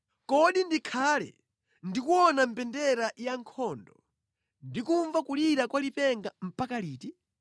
Kodi ndikhale ndikuona mbendera ya nkhondo, ndi kumva kulira kwa lipenga mpaka liti?